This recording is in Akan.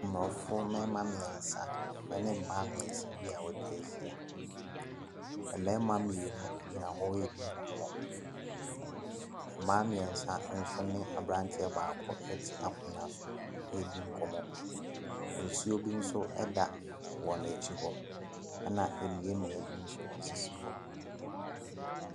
Abusuakuw bi a wɔregye wɔn ahome wɔ baabi. Ebi yɛ Aborɔfo na ebi nso yɛ Abibifo. Ɛpono bi si a wɔdde ntoma kɔkɔɔ asɛn so. Aduane sisi so.